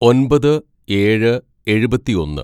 "ഒന്‍പത് ഏഴ് എഴുപത്തിയൊന്ന്‌